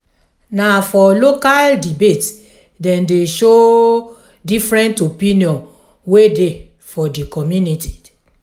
na for local debate dem dey show different opinion wey dey for di community.